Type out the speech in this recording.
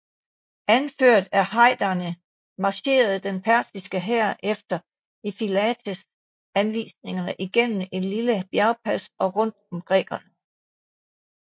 Anført af Hydarne marcherede den persiske hær efter Ephialtes anvisninger igennem et lille bjergpas og rundt om grækerne